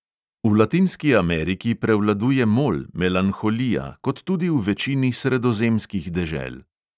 V latinski ameriki prevladuje mol, melanholija, kot tudi v večini sredozemskih dežel.